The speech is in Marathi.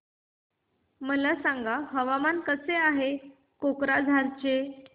मला सांगा हवामान कसे आहे कोक्राझार चे